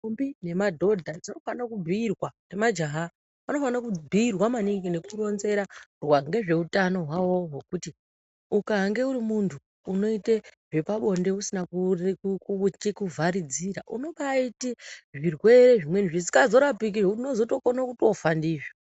Ndombi nemadhodha dzinofanira kubhuyirwa, nemajaha, vanofanira kubhiirwa maningi nekuronzerwa ngezveutano hwavo hwokuti ukange urimuntu unoite zvepabonde usina kuvharidzira, unobaaite zvirwere zvimweni zvisikazorapiki zvekuti unozotokone kutofa ndizvo.